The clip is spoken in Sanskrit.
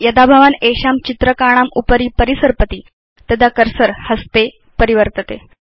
यदा भवान् एषां चित्रकाणाम् उपरि परिसर्पति तदा कर्सर हस्ते परिवर्तते